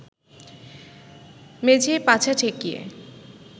মেঝেয় পাছা ঠেকিয়ে